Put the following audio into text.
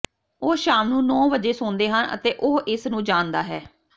ਉਹ ਸ਼ਾਮ ਨੂੰ ਨੌਂ ਵਜੇ ਸੌਂਦੇ ਹਨ ਅਤੇ ਉਹ ਇਸ ਨੂੰ ਜਾਣਦਾ ਹੈ